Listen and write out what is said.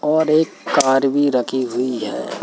और एक कार भी रखी हुई है।